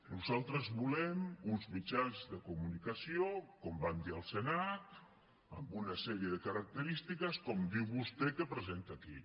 nosaltres volem uns mitjans de comunicació com vam dir al senat amb una sèrie de característiques com diu vostè que presenta aquí